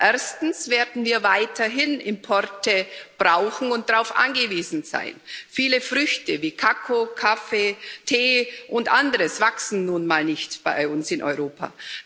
Erstens werden wir weiterhin Importe brauchen und darauf angewiesen sein Viele Früchte wie Kakao, Kaffee, Tee und anderes wachsen nun mal nicht bei uns in Europa.